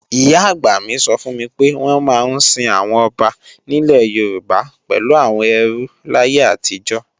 Ìyá-àgbà mi sọ fún mi pé wọ́n máa ń sin àwọn ọba nílẹ̀ Yorùbá pẹ̀lú àwọn ẹrú láyé àtijọ́